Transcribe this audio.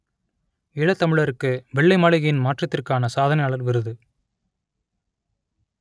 ஈழத்தமிழருக்கு வெள்ளை மாளிகையின் மாற்றத்திற்கான சாதனையாளர் விருது